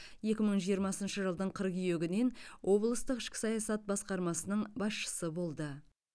екі мың жиырмасыншы жылдың қыркүйегінен облыстық ішкі саясат басқармасының басшысы болды